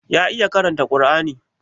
Ya iya karanta Kar'ani?